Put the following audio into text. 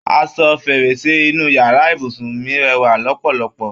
Aṣọ fèrèsé inú yàrá ibùsùn mí rẹwà lọpọlọpọ